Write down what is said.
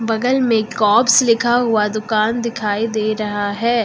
बगल में कॉब्स लिखा हुआ दुकान दिखाई दे रहा है।